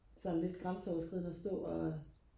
sådan lidt grænseoverskridende og stå og